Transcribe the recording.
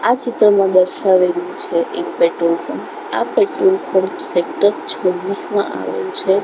આ ચિત્રમાં દર્શાવેલુ છે એક પેટ્રોલ પંપ આ પેટ્રોલ પંપ સેક્ટર છૌવીસમા આવેલું છે.